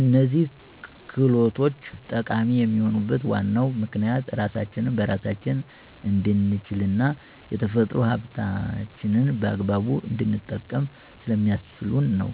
እነዚህ ክህሎቶች ጠቃሚ የሚሆኑበት ዋናው ምክንያት ራሳችንን በራሳችን እንድንችልና የተፈጥሮ ሀብታችንን በአግባቡ እንድንጠቀም ስለሚያስችሉን ነው።